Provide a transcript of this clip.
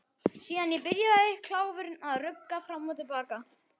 Síðan byrjaði kláfurinn að rugga fram og til baka.